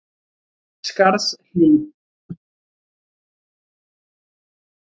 Skarðshlíð